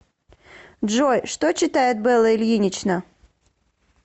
джой что читает белла ильинична